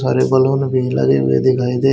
सारे बलून भी लगे हुए दिखाई दे--